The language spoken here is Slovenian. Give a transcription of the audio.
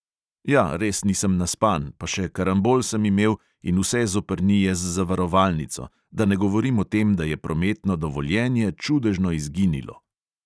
"Ja, res nisem naspan, pa še karambol sem imel in vse zoprnije z zavarovalnico, da ne govorim o tem, da je prometno dovoljenje čudežno izginilo."